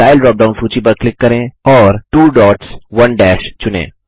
style drop down सूची पर click करें और 2 डॉट्स 1 दश चुनें